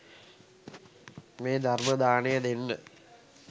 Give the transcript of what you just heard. මේ ධර්ම දානය දෙන්න